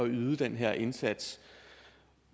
yde den her indsats